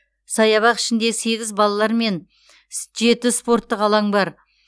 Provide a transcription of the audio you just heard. саябақ ішінде сегіз балалар мен жеті спорттық алаң бар